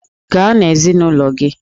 Gaa na ezinụlọ gị!